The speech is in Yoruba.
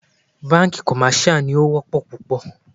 Bánkì commercial ní o wọ́pọ̀ púpọ̀.